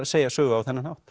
segja sögu á þennan hátt